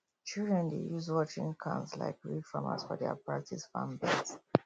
children dey use watering cans like real farmers for their practice farm beds